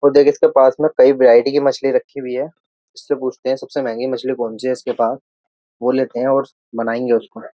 और देख इसके पास में कई वैरायटी की मछली रखी हुई है इससे पूछते हैं सबसे महंगी मछली कौन सी है इसके पास वो लेते हैं और बनाएंगे उसको --